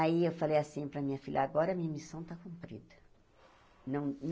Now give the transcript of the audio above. Aí eu falei assim para a minha filha, agora a minha missão está cumprida.